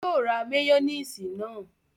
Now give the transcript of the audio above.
Yóò ra máyónísì náà